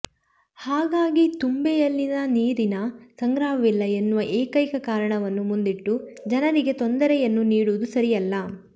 ಹಾಗಾಗಿ ತುಂಬೆ ಯಲ್ಲಿ ನೀರಿನ ಸಂಗ್ರಹವಿಲ್ಲ ಎನ್ನುವ ಏಕೈಕ ಕಾರಣವನ್ನು ಮುಂದಿಟ್ಟು ಜನರಿಗೆ ತೊಂದರೆಯನ್ನು ನೀಡುವುದು ಸರಿಯಲ್ಲ